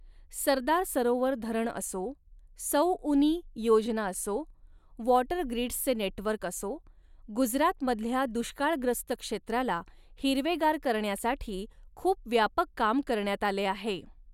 सरदार सरोवर धरण असो, सौउनी योजना असो, वॉटर ग्रिडसचे नेटवर्क असो, गुजरातमधल्या दुष्काळग्रस्त क्षेत्राला हिरवेगार करण्यासाठी खूप व्यापक काम करण्यात आले आहे.